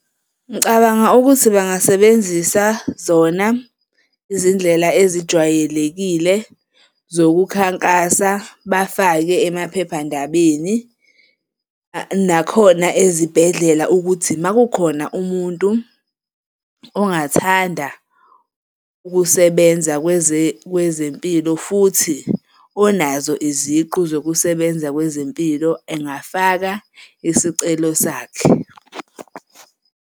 Ngicabanga ukuthi bangasebenzisa zona izindlela ezijwayelekile zokukhankasa, bafake emaphephandabeni nakhona ezibhedlela ukuthi uma kukhona umuntu ongathanda ukusebenza kwezempilo futhi onazo iziqu zokusebenza kwezempilo engafaka isicelo sakhe.